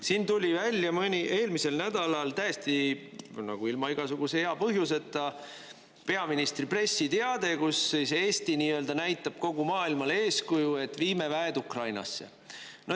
Siin tuli välja eelmisel nädalal täiesti ilma igasuguse hea põhjuseta peaministri pressiteade, kus Eesti näitab kogu maailmale eeskuju, et viime väed Ukrainasse.